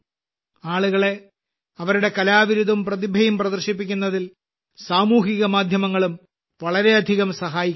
ആളുകളെ അവരുടെ കലാവിരുതും പ്രതിഭയും പ്രദർശിപ്പിക്കുന്നതിൽ സൂഹ്യമാധ്യമങ്ങളും വളരെയധികം സഹായിക്കുന്നുണ്ട്